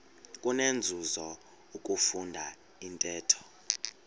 kunenzuzo ukufunda intetho